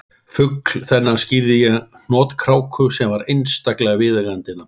Fugl þennan skírði ég hnotkráku sem var einstaklega viðeigandi nafn